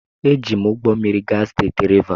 Eji m ụgbọ mmiri gaa steeti Rivas.